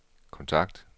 kontakt